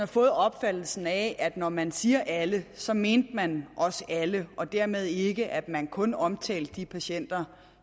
fået opfattelsen af at når man siger alle så mente man også alle og dermed ikke at man kun omtalte de patienter